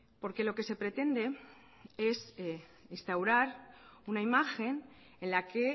porque lo que se pretende es instaurar una imagen en la que